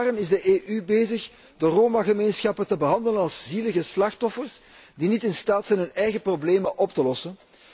Al jaren is de EU bezig de Roma gemeenschappen te behandelen als zielige slachtoffers die niet in staat zijn hun eigen problemen op te lossen.